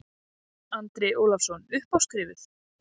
Andri Ólafsson: Upp á skrifuð?